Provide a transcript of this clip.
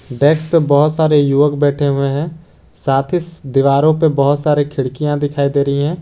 Desk पे बहुत सारे युवक बैठे हुए हैं साथ ही दीवारों पे बहुत सारे खिड़कियां दिखाई दे रही हैं।